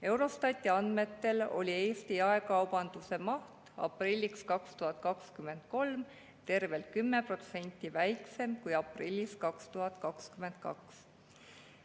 Eurostati andmetel oli Eesti jaekaubanduse maht aprillis 2023 tervelt 10% väiksem kui aprillis 2022.